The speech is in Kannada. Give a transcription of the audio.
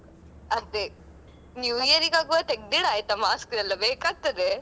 ಅದೇ new year ಗೆ ಆಗ್ವಾಗ ತೆಗ್ದಿಡಾಯ್ತ mask ಎಲ್ಲಾ ಬೇಕಾಗ್ತಾದೆ.